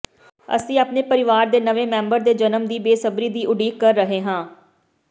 ਅਸੀਂ ਆਪਣੇ ਪਰਿਵਾਰ ਦੇ ਨਵੇਂ ਮੈਂਬਰ ਦੇ ਜਨਮ ਦੀ ਬੇਸਬਰੀ ਦੀ ਉਡੀਕ ਕਰ ਰਹੇ ਹਾਂ